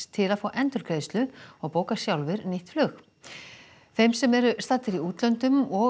til að fá endurgreiðslu og bóka sjálfir nýtt flug þeim sem eru staddir í útlöndum og